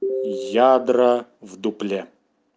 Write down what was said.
ядра в дупле